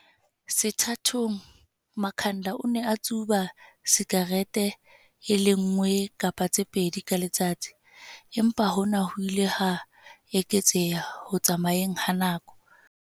Sethathong, Makhanda o ne a tsuba sikarete e le nngwe kapa tse pedi ka letsatsi, empa hona ho ile ha eketseha ho tsamayeng ha nako.